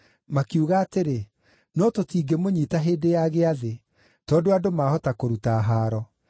Makiuga atĩrĩ, “No tũtingĩmũnyiita hĩndĩ ya Gĩathĩ, tondũ andũ mahota kũruta haaro.”